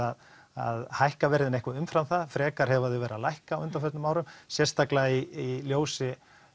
að að hækka verðin eitthvað umfram það frekar hafa þau verið að lækka á undanförnum árum sérstaklega í ljósi